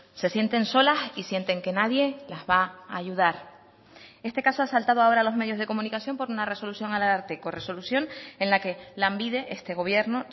se sienten solas y sienten que nadie las va a ayudar este caso ha saltado ahora a los medios de comunicación por una resolución al ararteko resolución en la que lanbide este gobierno